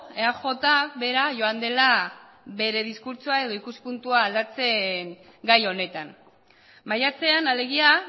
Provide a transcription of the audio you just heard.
eaj bera joan dela bere diskurtsoa edo ikuspuntua aldatzen gai honetan maiatzean alegia